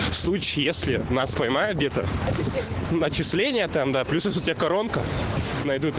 в случае если нас поймают где-то начисление там да плюс у тебя коронка